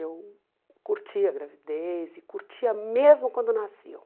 Eu curtia a gravidez e curtia mesmo quando nasceu.